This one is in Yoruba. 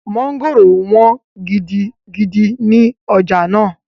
Mọ́ngòrò wọ́n gidigidi ní ọjà náà